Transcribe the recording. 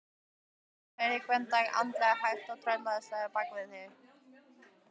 Péturs, heyrir Gvend anda hægt og tröllslega bak við sig.